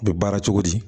U bɛ baara cogo di